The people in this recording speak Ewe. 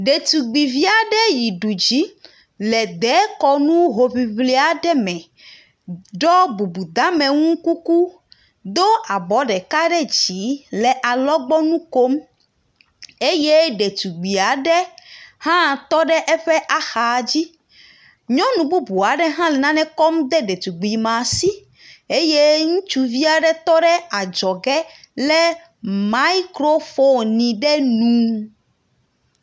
Ɖetugbivi aɖe yi du dzi le dzekɔnu hoŋliŋli aɖe me. Do bubudeamenu kuku do abɔ ɖeka ɖe dzi le alɔgbɔnu kom eye ɖetugbi aɖe hã tɔ ɖe eƒe axa dzi. Nyɔnububu aɖe hã le nane kɔm de ɖetugbi ma si eye ŋutsuvi aɖe tɔ ɖe adzɔge le mikrofoni ɖe nu.